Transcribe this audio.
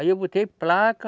Aí eu botei placa,